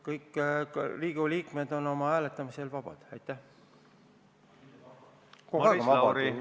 Kõik Riigikogu liikmed on hääletamisel vabad, on kogu aeg vabad olnud.